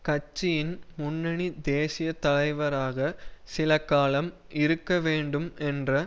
கட்சியின் முன்னணி தேசிய தலைவராக சில காலம் இருக்க வேண்டும் என்ற